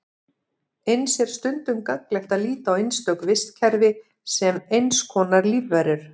Eins er stundum gagnlegt að líta á einstök vistkerfi sem eins konar lífverur.